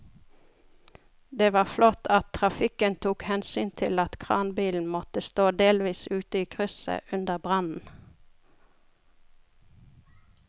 Det var flott at trafikken tok hensyn til at kranbilen måtte stå delvis ute i krysset under brannen.